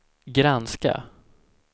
granska